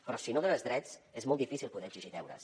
però si no dones drets és molt difícil poder exigir deures